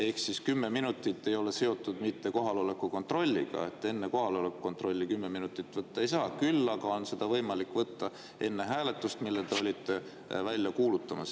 Ehk see kümme minutit ei ole seotud mitte kohaloleku kontrolliga, enne kohaloleku kontrolli kümmet minutit võtta ei saa, küll aga on seda võimalik võtta enne hääletust, mida te olite välja kuulutamas.